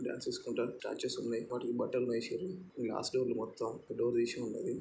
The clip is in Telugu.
లోపల డాన్స్ చేసుకుంటారు. స్టార్ట్ చేసింది వాటికీ బట్టలు వేసి ఉంది. ఇది గ్లాస్ టేబుల్ మొత్తమ్ డోర్ తీసి ఉంది.